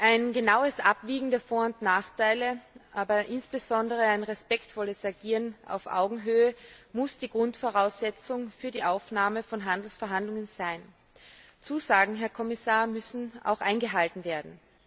Ein genaues Abwägen der Vor und Nachteile, aber insbesondere ein respektvolles Agieren auf Augenhöhe, muss die Grundvoraussetzung für die Aufnahme von Handelsverhandlungen sein. Zusagen, Herr Kommissar, müssen auch eingehalten werden.